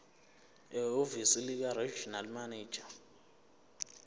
ehhovisi likaregional manager